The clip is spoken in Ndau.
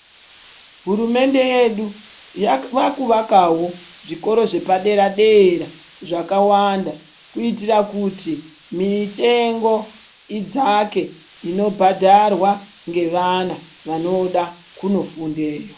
Hurumende yedu vakuvakawo zvikora zvepadera dera zvakawanda kuitira kuti mitengo idzake inobhadharwa ngevana vanoda kundofundeyo.